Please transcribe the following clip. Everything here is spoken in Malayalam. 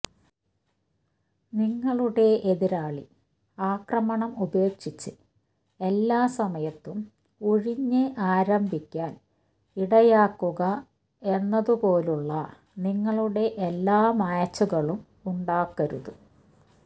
നിങ്ങളുടെ എതിരാളി ആക്രമണം ഉപേക്ഷിച്ച് എല്ലാ സമയത്തും ഉഴിഞ്ഞ് ആരംഭിക്കാൻ ഇടയാക്കുക എന്നതുപോലുള്ള നിങ്ങളുടെ എല്ലാ മാച്ചുകളും ഉണ്ടാക്കരുത്